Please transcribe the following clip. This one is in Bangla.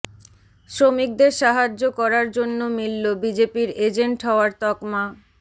শ্রমিকদের সাহায্য করার জন্য মিলল বিজেপির এজেন্ট হওয়ার তকমা